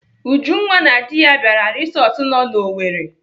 Ujunwa na di ya bịara resọtụ nọ n'Owerri.